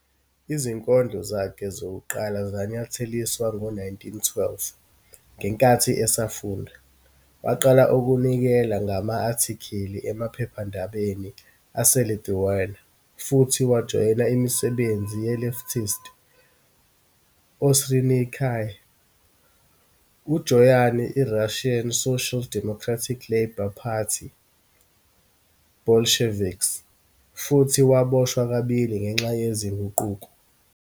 Izinkondlo zakhe zokuqala zanyatheliswa ngo-1912."Ngenkathi esafunda, waqala ukunikela ngama-" athikili emaphephandabeni aseLithuania futhi wajoyina imisebenzi ye-leftist ausininkai. Ujoyine iRussian Social Democratic Labour Party Bolsheviks futhi waboshwa kabili ngenxa yezinguquko.